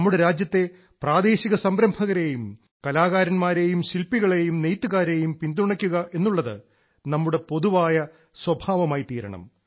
നമ്മുടെ രാജ്യത്തെ പ്രാദേശിക സംരംഭകരെയും കലാകാരന്മാരെയും ശിൽപ്പികളെയും നെയ്ത്തുകാരെയും പിന്തുണയ്ക്കുക എന്നുള്ളത് നമ്മുടെ പൊതുവായ സ്വഭാവമായിത്തീരണം